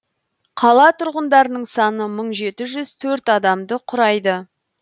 қала тұрғындарының саны мың жеті жүз төрт адамды құрайды